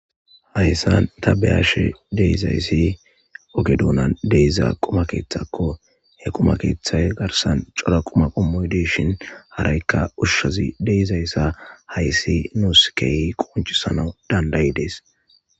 hayssan ta beyashe de'izayssi oge duunan de'iza quma keeththakko he quma keeththay garsan cora quma qommoy deshin haraykka ushshazi deizayssa hayssi nuuskeyi qoncisana dandayidees